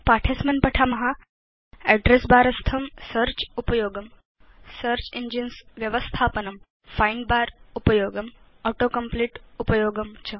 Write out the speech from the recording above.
पाठे अस्मिन् पठाम Address बर स्थं सेऽर्च उपयोगं सेऽर्च इंजिन्स् व्यवस्थापनं फाइण्ड बर उपयोगं auto कम्प्लीट उपयोगं च